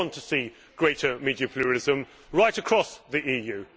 We all want to see greater media pluralism right across the EU.